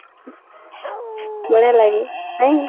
ବଢିଆ ଲାଗେ ନାଇଁ